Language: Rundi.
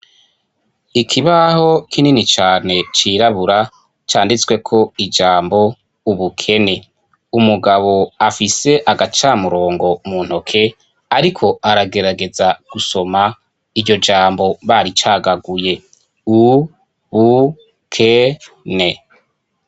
Ikibaho kinini cyane cyirabura cyanditswe ko ijambo ubukene. Umugabo afise agacamurongo mu ntoke ariko aragerageza gusoma iryo jambo bari cagaguye ubukene.